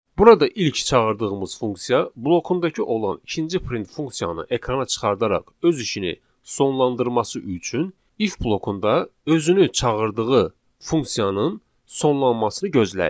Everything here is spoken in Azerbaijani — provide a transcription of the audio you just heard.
Burada ilk çağırdığımız funksiya blokundakı olan ikinci print funksiyanı ekrana çıxardaraq öz işini sonlandırması üçün if blokunda özünü çağırdığı funksiyanın sonlanmasını gözləyir.